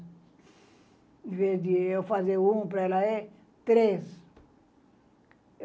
Ao invés de eu fazer um para ela, é três.